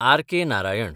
R.K.. Narayan